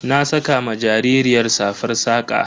Na saka ma jaririyar safar saƙa.